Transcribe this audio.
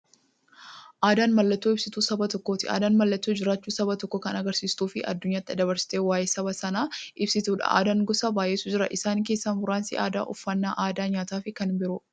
Aadaan mallattoo ibsituu saba tokkooti. Aadaan mallattoo jiraachuu saba tokkoo kan agarsiistufi addunyyaatti dabarsitee waa'ee saba sanaa ibsituudha. Aadaan gosa baay'eetu jira. Isaan keessaa muraasni aadaa, uffannaa aadaa nyaataafi kan biroo.